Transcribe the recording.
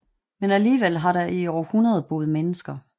Men alligevel har der i århundrede boet mennesker